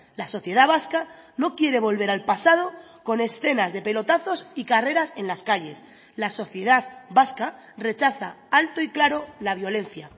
la sociedad vasca no quiere volver al pasado con escenas de pelotazos y carreras en las calles la sociedad vasca rechaza alto y claro la violencia